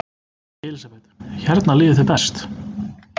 Elísabet: Hérna líður þér best?